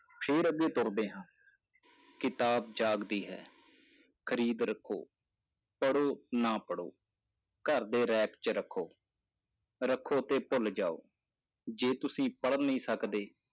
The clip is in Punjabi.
ਫਿਰ ਅੱਗੇ ਤੁਰਦੇ ਹਾਂ ਕਿਤਾਬ ਜਾਗਦੀ ਹੈ, ਖਰੀਦੋ ਰੱਖੋ, ਪੜ੍ਹੋ ਨਾ ਪੜ੍ਹੋ, ਘਰ ਦੇ ਰੈਕ ‘ਚ ਰੱਖੋ, ਰੱਖੋ ਤੇ ਭੁੱਲ ਜਾਓ, ਜੇ ਤੁਸੀਂ ਪੜ ਨਹੀਂ ਸਕਦੇ,